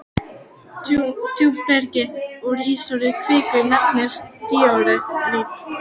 Djúpberg úr ísúrri kviku nefnist díorít.